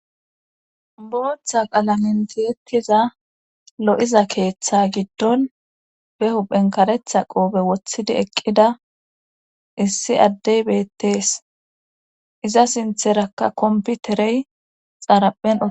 Bootha qalamen tiyettiza lo7iza keetha giddon behuuphen karetha qoobe wothidi eqqida issi addey beettees iza sintherakka komppiterey xaraphen utti.